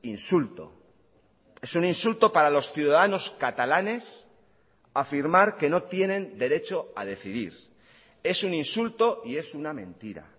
insulto es un insulto para los ciudadanos catalanes afirmar que no tienen derecho a decidir es un insulto y es una mentira